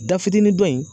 Da fitinin dɔ in